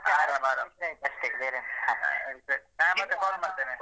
ಆರಾಮ್ ಆರಾಮ್ ಸರಿ ನಾನ್ ಮತ್ತೆ call ಮಾಡ್ತೇನೆ.